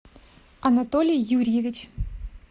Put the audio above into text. анатолий юрьевич